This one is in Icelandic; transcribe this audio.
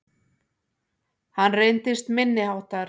Hann reyndist minniháttar